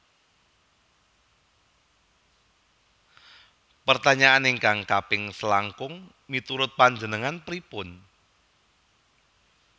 Pertanyaan ingkang kaping selangkung miturut panjenengan pripun?